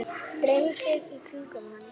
Dreifi sér í kringum hann.